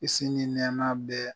Kisi ni nɛɛma bɛ